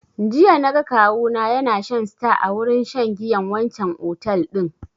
Jiya na ga kawu na ya na shan star a wurin shan giyan wancan otel din